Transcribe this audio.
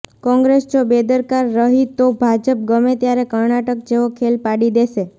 કોંગ્રેસ જો બેદરકાર રહી તો ભાજપ ગમે ત્યારે કર્ણાટક જેવો ખેલ પાડી દેશે